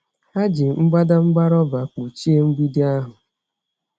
Ha ji mbadamba rọba kpuchie mgbidi ahụ.